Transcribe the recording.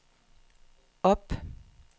op